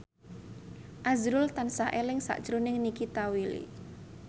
azrul tansah eling sakjroning Nikita Willy